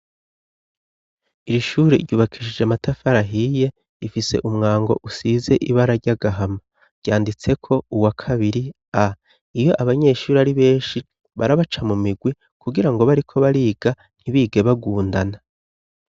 Iri shuri ryubakishije amatafarahiye ifise umwango usize ibe araryagahama ryanditseko uwa kabiri a iyo abanyeshuri ari benshi barabaca mu migwi kugira ngo bariko bariga ntibige bagundana.